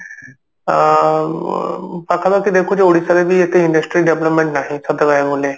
ଆ ପାଖାପାଖି ଦେଖୁଛି ଓଡିଶାରେ ବି ଏତେ industry development ନାହିଁ ସତ କହିବାକୁ ଗଲେ